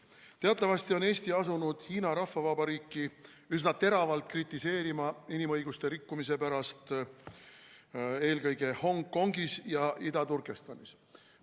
Teatavasti on Eesti asunud Hiina Rahvavabariiki üsna teravalt kritiseerima inimõiguste rikkumise pärast eelkõige Hongkongis ja Ida-Turkestanis.